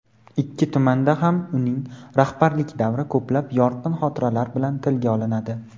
Ikki tumanda ham uning rahbarlik davri ko‘plab "yorqin" xotiralar bilan tilga olinadi.